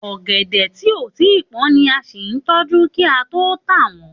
Ọ̀gẹ̀dẹ̀ ti ko tí pón ni a sí n tójú ki a to ta won.